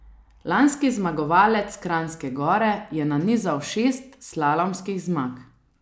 Lanski zmagovalec Kranjske Gore je nanizal šest slalomskih zmag.